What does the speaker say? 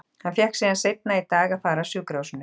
Hann fékk síðan seinna í dag að fara af sjúkrahúsinu.